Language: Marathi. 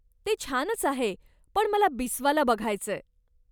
ते छानच आहे पण मला बिस्वाला बघायचंय.